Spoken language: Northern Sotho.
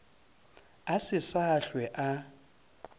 a se sa hlwe a